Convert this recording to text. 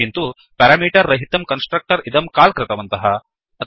किन्तु पेरामीटर् रहितं कन्स्ट्रक्टर् इदं काल् कृतवन्तः